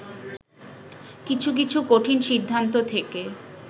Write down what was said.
কিছু কিছু কঠিন সিদ্ধান্ত থেকে